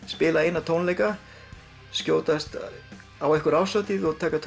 spila eina tónleika skjótast á eina árshátíð og taka